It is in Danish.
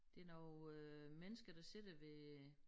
Det nogle øh mennesker der sidder ved